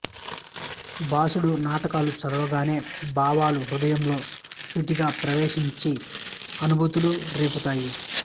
భాసుడు నాటకాలు చదవగానే భావాలు హృదయంలో సూటిగా ప్రవేశించి అనుభూతులు రేపుతాయి